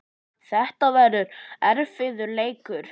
Þetta verður erfiður leikur.